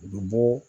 U bɛ bɔ